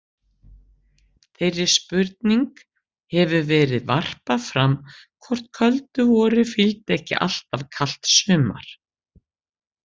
Þeirri spurning hefur verið varpað fram hvort köldu vori fylgdi ekki alltaf kalt sumar.